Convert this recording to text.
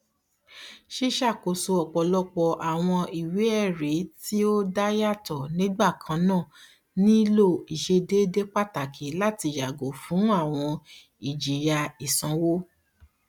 ṣiṣakoso ọpọlọpọ awọn iweẹri ti o dayato nigbakanna nilo iṣedede pataki láti yago fun àwọn ijiya isanwo